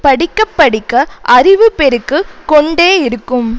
படிக்க படிக்க அறிவு பெருக்கு கொண்டே இருக்கும்